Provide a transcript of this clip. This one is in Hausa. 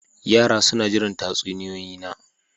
Yara suna jiran tatsuniyoyi na.